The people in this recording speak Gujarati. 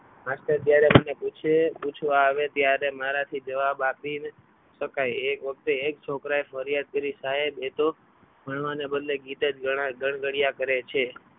માસ્ટર જ્યારે મને પૂછે પૂછવા આવે ત્યારે મારાથી જવાબ આપી શકાય એક વખતે એક છોકરાએ ફરિયાદ કરી સાહેબ એ તો ભણવાને બદલે ગીત જ ગણગણ્યા કરે છે.